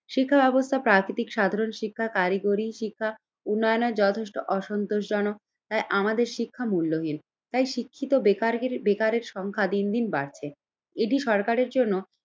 শিক্ষাব্যাবস্থা প্রাকৃতিক সাধারণ শিক্ষার কারিগরি শিক্ষা উন্নয়নের যথেষ্ট অসন্তোষজন তাই আমাদের শিক্ষা মূল্যহীন, তাই শিক্ষিত বেকারগি বেকারের সংখ্যা দিন দিন বাড়ছে। এটি সরকারের জন্য